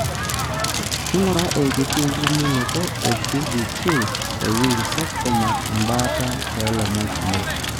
ingura enkiti limunoto e PDQ e Ewing sarcoma embaata tolomon kumok.